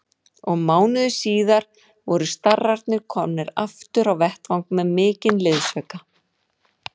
Og mánuði síðar voru starrarnir komnir aftur á vettvang með mikinn liðsauka.